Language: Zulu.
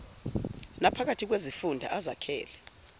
naphakathi kwezifunda ezakhele